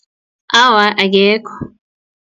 Awa, akekho.